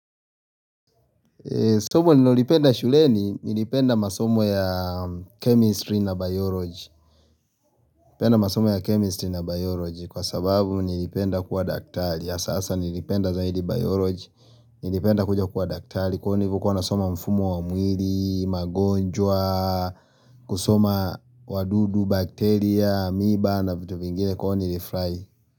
Somo nililolipenda shuleni, nilipenda masomo ya masomo ya chemistry na bayoloji, kwa sababu nilipenda kuwa daktari, hasa nilipenda zaidi bayoloji, nilipenda kuja kuwa daktari, kwa hivo nilivokua nasoma mfumo wa mwili, magonjwa, kusoma wadudu, bakteria, amiba na vitu vingine kwa hivo nilifurahi.